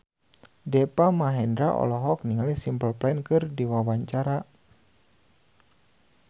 Deva Mahendra olohok ningali Simple Plan keur diwawancara